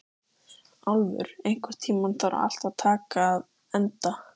Álfur, einhvern tímann þarf allt að taka enda.